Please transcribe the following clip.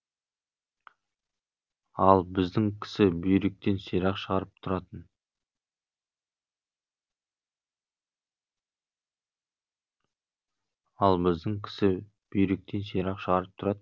ал біздің кісі бүйректен сирақ шығарып тұратын